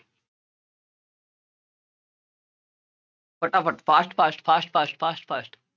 ਫਟਾਫਟ fast, fast, fast, fast, fast, fast